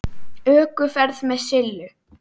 ÖKUFERÐ MEÐ SILLU